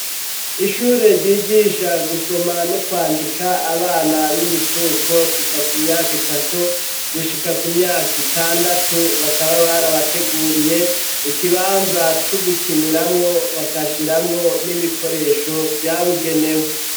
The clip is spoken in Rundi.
Ishure ryigisha gusoma no kwandika abana b'imicuko kuva ku myaka itatu gushika ku myaka itandatu bakaba barabateguriye ikibanza cugukiniramwo bakashiramwo n'ibikoresho vya bigenewe.